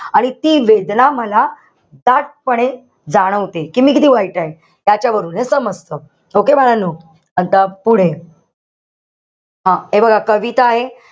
आणि ती वेदना मला दाटपणे जाणवते. कि मी किती वाईट आहे. त्याच्यावरून हे समजत. Okay बाळांनो? आता पुढे. हं हे बघा, कविता आहे.